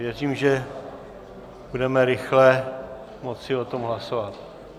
Věřím, že budeme rychle moci o tom hlasovat.